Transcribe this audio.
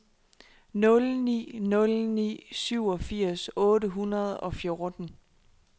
nul ni nul ni syvogfirs otte hundrede og fjorten